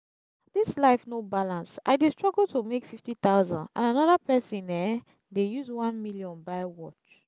dis life no balance i dey struggle to make fifty thousand and another person um dey use one million buy watch